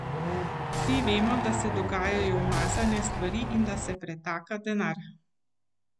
Vsi vemo, da se dogajajo umazane stvari in da se pretaka denar.